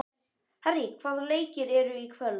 Harrý, hvaða leikir eru í kvöld?